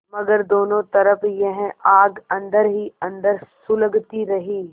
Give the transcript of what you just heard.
मगर दोनों तरफ यह आग अन्दर ही अन्दर सुलगती रही